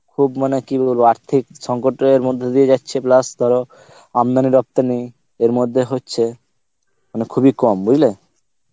খুব মানে কি বলব আর্থিক সংকটের মধ্যে দিয়ে যাচ্ছে plus ধর আমদানি রবতানি এর মধ্যে হচ্ছে মানে খুব এ কম বুজলে